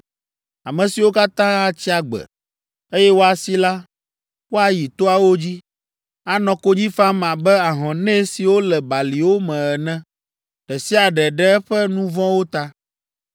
Ame siwo katã atsi agbe, eye woasi la, woayi toawo dzi, anɔ konyi fam abe ahɔnɛ siwo le baliwo me ene, ɖe sia ɖe ɖe eƒe nu vɔ̃wo ta.